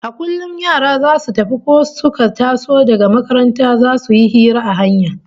A kullum yara zasu tafi ko suka taso daga makaranta zasu yi hira a hanya